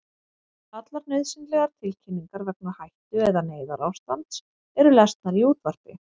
Allar nauðsynlegar tilkynningar vegna hættu- eða neyðarástands eru lesnar í útvarpi.